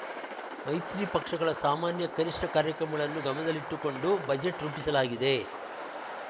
ಮೈತ್ರಿ ಪಕ್ಷಗಳ ಸಾಮಾನ್ಯ ಕನಿಷ್ಠ ಕಾರ್ಯಕ್ರಮಗಳನ್ನು ಗಮನದಲ್ಲಿಟ್ಟುಕೊಂಡು ಬಜೆಟ್‌ ರೂಪಿಸಲಾಗಿದೆ